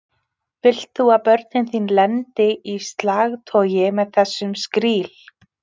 Vilt þú að börnin þín lendi í slagtogi með þessum skríl?